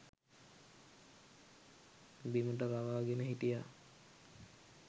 බිමට රවාගෙන හිටියා